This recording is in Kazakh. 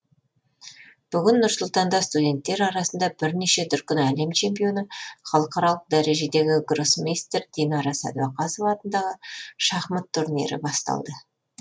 бүгін нұр сұлтанда студенттер арасында бірнеше дүркін әлем чемпионы халықаралық дәрежедегі гроссмейстер динара сәдуақасова атындағы шахмат турнирі басталды